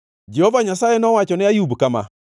Jehova Nyasaye nowachone Ayub kama: